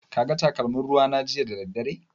Ka ga takalmin ruwa na jiya da daddare?